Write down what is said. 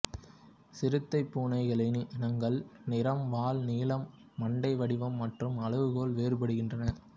சிறுத்தை பூனை கிளையினங்கள் நிறம் வால் நீளம் மண்டை வடிவம் மற்றும் அளவுகளால் வேறுபடுகிறன